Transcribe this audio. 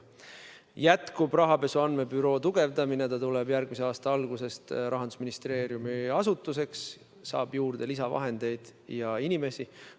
Rahapesu andmebüroo tugevdamine jätkub, see tuleb järgmise aasta alguses Rahandusministeeriumi alluvusse ning saab juurde lisavahendeid ja inimesi.